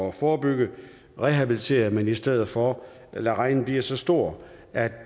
at forebygge rehabilitere men i stedet for lader regningen blive så stor at